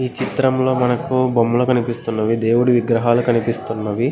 ఈ చిత్రంలో మనకు బొమ్మలు కనిపిస్తున్నది. దేవుడి విగ్రహాలు కనిపిస్తున్నవి.